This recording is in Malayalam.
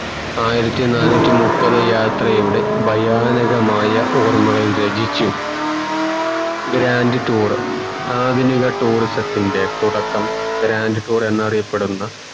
ആയിരത്തി നാനൂറ്റി മുപ്പത് യാത്രയുടെ ഭയാനകമായ ഓർമ്മകൾ രചിച്ചു grand tour ആധുനിക tourism തിൻ്റെ തുടക്കം grand tour എന്നറിയപ്പെടുന്ന